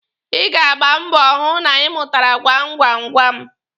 Ị ga-agba mbọ hụ na ị mụtara gwam gwam gwam.